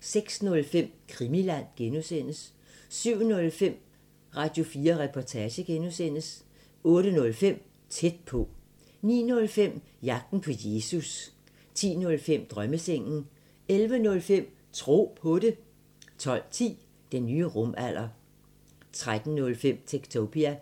06:05: Krimiland (G) 07:05: Radio4 Reportage (G) 08:05: Tæt på 09:05: Jagten på Jesus 10:05: Drømmesengen 11:05: Tro på det 12:10: Den nye rumalder 13:05: Techtopia